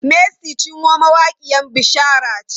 Mercy Chinwo mawaƙiyan bishara ce.